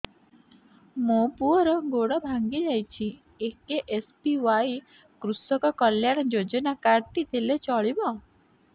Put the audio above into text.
ମୋ ପୁଅର ଗୋଡ଼ ଭାଙ୍ଗି ଯାଇଛି ଏ କେ.ଏସ୍.ବି.ୱାଇ କୃଷକ କଲ୍ୟାଣ ଯୋଜନା କାର୍ଡ ଟି ଦେଲେ ଚଳିବ